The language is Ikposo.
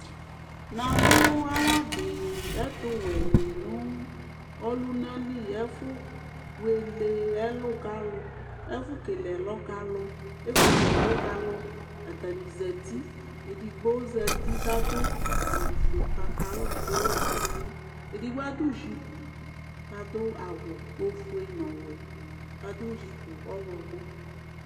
Namʋ awʋ adi ɛtʋwɛni nʋ ɔlunali ɛfʋ kele ɛlɔ kʋ alʋ atani zati edigbo zati kʋ adʋ awʋfue nʋ patalɔ kʋ ewʋ ɛkʋ nʋ ɛlʋ edigbo adʋ jipu kʋ adʋ ofue nʋ ɔwɛ kʋ adʋ jipu ɔwlɔmɔɩ